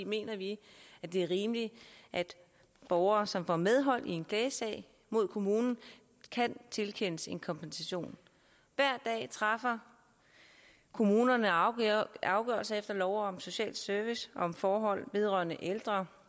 mener vi at det er rimeligt at borgere som får medhold i en klagesag mod kommunen kan tilkendes en kompensation hver dag træffer kommunerne afgørelser afgørelser efter lov om social service om forhold vedrørende ældre